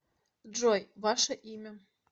джой ваше имя